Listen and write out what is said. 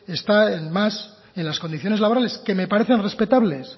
está más en las condiciones laborales que me parecen respetables